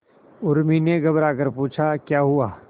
उर्मी ने घबराकर पूछा क्या हुआ